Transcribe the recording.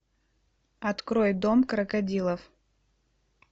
открой дом крокодилов